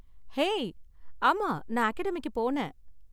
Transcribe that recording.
Hey! ஆமா, நான் அகாடமிக்கு போனேன்.